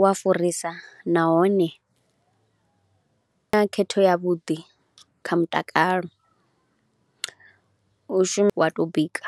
u a furisa nahone na khetho yavhuḓi kha mutakalo, u shu, wa tou bika.